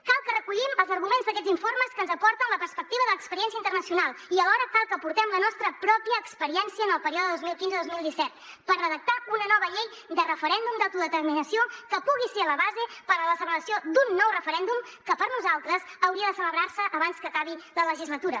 cal que recollim els arguments d’aquests informes que ens aporten la perspectiva de l’experiència internacional i alhora cal que aportem la nostra pròpia experiència en el període dos mil quinze dos mil disset per redactar una nova llei de referèndum d’autodeterminació que pugui ser la base per a la celebració d’un nou referèndum que per nosaltres hauria de celebrar se abans que acabi la legislatura